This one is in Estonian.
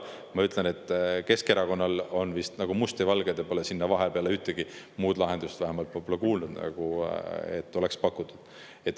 Ma ütlen, et Keskerakonnal on see nagu must ja valge, te pole pakkunud ühtegi vahepealset lahendust, vähemalt ma pole kuulnud, et oleks pakkunud.